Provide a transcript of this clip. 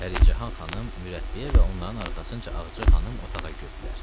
Pəricahan xanım mürəbbiyə və onların arxasınca Ağca xanım otağa girdilər.